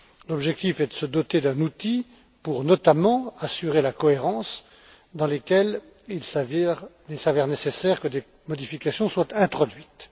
L'objectif est de se doter d'un outil pour, notamment, assurer la cohérence dans laquelle il s'avère nécessaire que des modifications soient introduites.